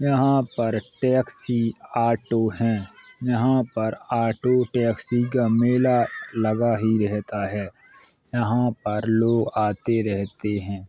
यहाँ पर एक टैक्सी ऑटो हैं। यहाँ पर ऑटो टैक्सी का मेला लगा ही रहता है यहाँ पर लोग आते रहते है।